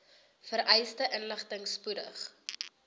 vereiste inligting spoedig